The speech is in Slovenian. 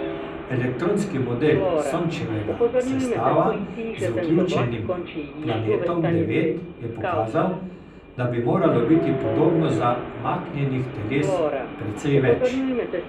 Elektronski model Sončevega sestava z vključenim Planetom devet je pokazal, da bi moralo biti podobno zamaknjenih teles precej več.